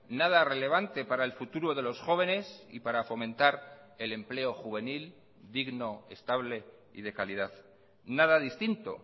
nada relevante para el futuro de los jóvenes y para fomentar el empleo juvenil digno estable y de calidad nada distinto